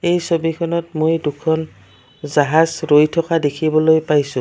এই ছবিখনত মই দুখন জাহাজ ৰৈ থকা দেখিবলৈ পাইছোঁ।